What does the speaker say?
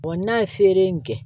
n'a ye feere in kɛ